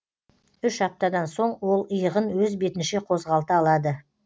үш аптадан соң ол иығын өз бетінше қозғалта алады